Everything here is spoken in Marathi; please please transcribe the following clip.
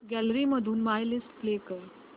गॅलरी मधून माय लिस्ट प्ले कर